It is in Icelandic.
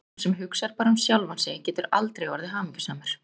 Sá sem hugsar bara um sjálfan sig getur aldrei orðið hamingjusamur.